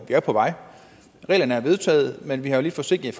vej reglerne er vedtaget men vi er lidt forsinket